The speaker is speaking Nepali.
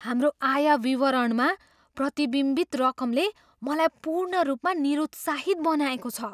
हाम्रो आय विवरणमा प्रतिबिम्बित रकमले मलाई पूर्ण रूपमा निरुत्साहित बनाएको छ।